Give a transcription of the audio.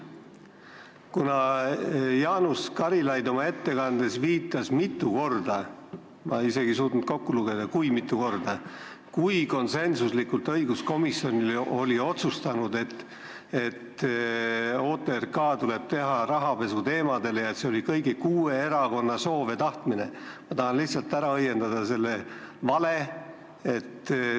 Kuna Jaanus Karilaid oma ettekandes viitas mitu korda – ma isegi ei suutnud kokku lugeda, kui mitu korda –, et õiguskomisjon oli konsensuslikult otsustanud, et tuleb teha OTRK rahapesuteemadel, et see oli kõigi kuue erakonna soov ja tahtmine, siis ma tahan lihtsalt selle vale ära õiendada.